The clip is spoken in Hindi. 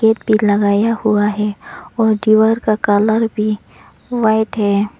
गेट भी लगाया हुआ है और दीवार का कलर भी व्हाइट है।